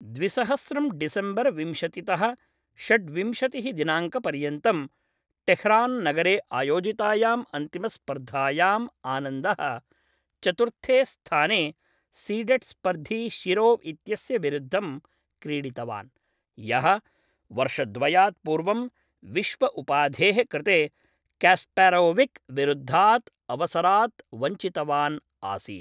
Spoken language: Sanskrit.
द्विसहस्रं डिसेम्बर् विंशतितः षड्विंशतिः दिनाङ्कपर्यन्तं टेह्रान्नगरे आयोजितायाम् अन्तिमस्पर्धायाम् आनन्दः, चतुर्थे स्थाने सीडेड्स्पर्धी शिरोव्इत्यस्य विरुद्धं क्रीडितवान्, यः वर्षद्वयात् पूर्वं विश्वउपाधेः कृते क्यास्पारोविक् विरुद्धात् अवसरात् वञ्चितवान् आसीत्।